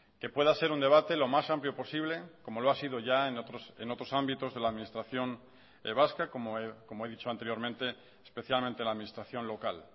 que pueda ser un debate lo más amplio posible como lo ha sido ya en otros ámbitos de la administración vasca como he dicho anteriormente especialmente la administración local